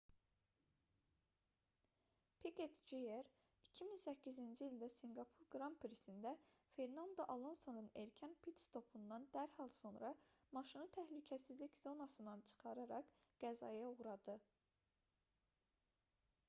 piqet jr 2008-ci ildə sinqapur qran prisində fernando alonsonun erkən pit-stopundan dərhal sonra maşını təhlükəsizlik zonasından çıxararaq qəzaya uğradı